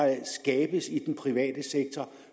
skabes i den private sektor